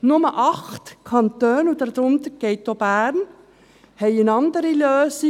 Nur 8 Kantone – dazu gehört auch Bern – haben eine andere Lösung.